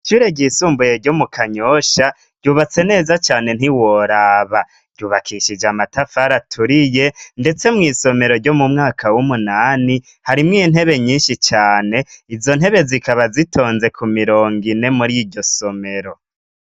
ishure ry'isumbuye ryo mu kanyosha ryubatse neza cane ntiworaba ryubakishije amatafari aturiye ndetse mw'isomero ryo mu mwaka w'umunani harimwo intebe nyinshi cane izo ntebe zikaba zitonze ku mirongo ine muri iryo somero